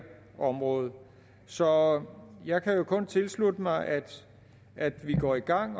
område så jeg kan kun tilslutte mig at at vi går i gang